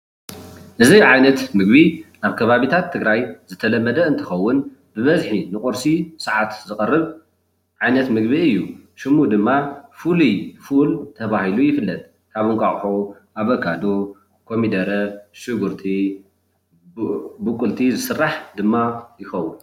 እዙይ ዓይነት ምግቢ ኣብ ከባብታት ትግራይ ዝተለመደ እንትኸውን ዝበዝሕ ግዜ ኣብ ቂርሲ ስዓትዝቀርብ እንትኸውን ፍሉይ ፉል ተባሂሉ ይፍለጥ። ካብ እንቁላሊሕ፣ ሽጉርቲ፣ ኣቮካዶ፣ ኮሚደረ ድማ ይስራሕ።